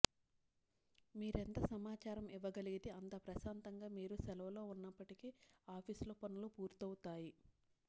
మీరెంత సమాచారం ఇవ్వగలిగితే అంత ప్రశాంతంగా మీరు సెలవులో ఉన్నప్పటికీ ఆఫీస్ లో పనులు పూర్తవుతాయి